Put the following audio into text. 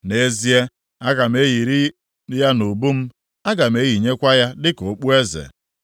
Nʼezie, aga m eyiri ya nʼubu m, aga m eyinyekwa ya dịka okpueze.